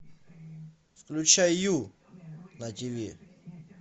включай ю на тиви